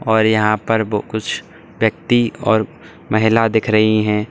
और यहां पर कुछ व्यक्ति और महिला दिख रही हैं।